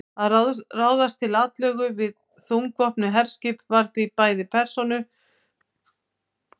Að ráðast til atlögu við þungvopnuð herskipin var því bæði peningasóun og fífldirfska.